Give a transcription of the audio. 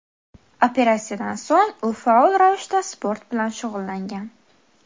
Operatsiyadan so‘ng u faol ravishda sport bilan shug‘ullangan.